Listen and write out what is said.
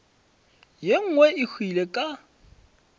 ye nngwe e hwile ka